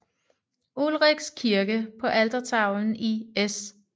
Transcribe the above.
Ulrichs kirke på altertavlen i S